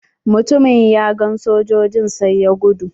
Mutumin ya gan sojojin sai ya gudu.